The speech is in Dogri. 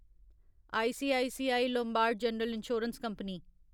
ICICI Lombard General Insurance Company limited